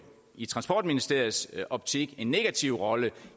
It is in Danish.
i transportministeriets optik en negativ rolle